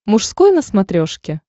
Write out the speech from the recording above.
мужской на смотрешке